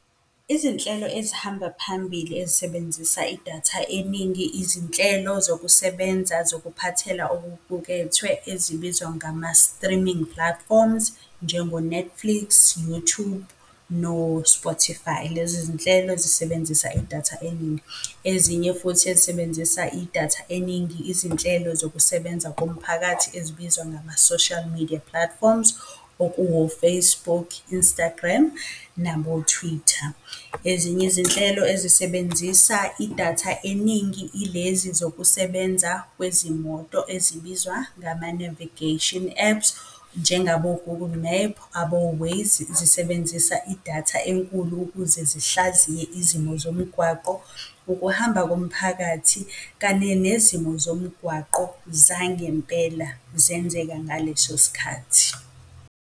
Izinhlelo ezihamba phambili ezisebenzisa idatha eningi, izinhlelo zokusebenza zokuphathela okuqukethwe ezibizwa ngama-streaming platforms, njengo-Netflix, Youtube, no-Spotify, lezo zinhlelo zisebenzisa idatha eningi. Ezinye futhi ezisebenzisa idatha eningi izinhlelo zokusebenza komphakathi ezibizwa ngama-social media platforms, okuwo-Facebook, Instagram, nabo-Twitter. Ezinye izinhlelo ezisebenzisa idatha eningi ilezi zokusebenza kwezimoto ezibizwa ngama-navigation apps, njengabo-Google map, abo-Waze, zisebenzisa idatha enkulu ukuze zihlaziye izimo zomgwaqo, ukuhamba komphakathi kanye nezimo zomgwaqo zangempela zenzeka ngaleso sikhathi.